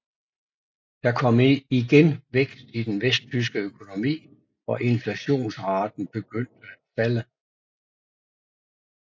Der kom igen vækst i den vesttyske økonomi og inflationsraten begyndte at falde